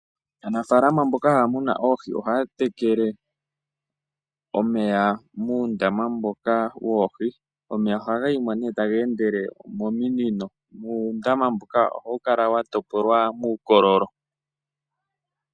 Aanafaalama mboka haya munu oohi ohaya tekele omeya muundama mboka woohi. Omeya ohaga yi mo nee taga endele mominino nuundama mboka ohawu kala wa topolwa muukololo.